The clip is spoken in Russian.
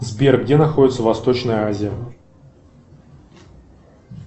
сбер где находится восточная азия